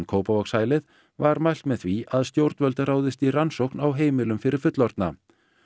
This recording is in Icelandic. Kópavogshælið var mælt með því að stjórnvöld ráðist í rannsókn á heimilum fyrir fullorðna